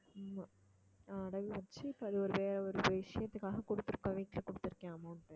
ஆமா அடகு வச்சு, இப்போ அது ஒரு வேற ஒரு விஷயத்துக்காக கொடுத்துருக்கோம் வீட்டுல கொடுத்திருக்கேன் amount